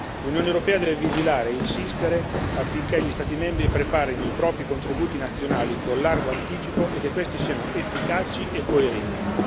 L'Unione europea deve vigilare e insistere affinché gli Stati membri preparino i propri contributi nazionali con largo anticipo e che questi siano efficaci e coerenti.